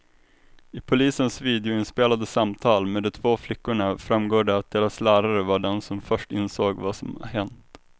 I polisens videoinspelade samtal med de två flickorna framgår det att deras lärare var den som först insåg vad som hänt.